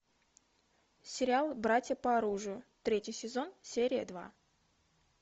сериал братья по оружию третий сезон серия два